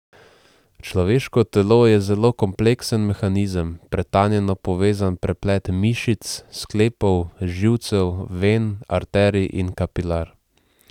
Človeško telo je zelo kompleksen mehanizem, pretanjeno povezan preplet mišic, sklepov, živcev, ven, arterij in kapilar.